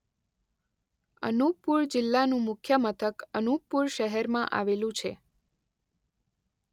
અનૂપપુર જિલ્લાનું મુખ્ય મથક અનૂપપુર શહેરમાં આવેલું છે.